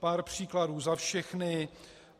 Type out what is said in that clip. Pár příkladů za všechny: